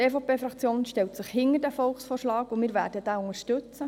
Die EVP stellt sich hinter den Volksvorschlag, und wir werden ihn unterstützen.